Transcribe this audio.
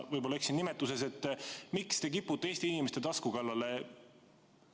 Võib-olla ma eksin nimetuses, aga miks te kipute Eesti inimeste tasku kallale?